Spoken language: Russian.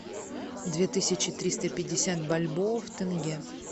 две тысячи триста пятьдесят бальбоа в тенге